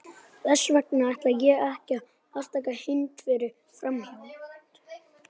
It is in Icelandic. Fleiri holur voru boraðar, flestar með haglabor.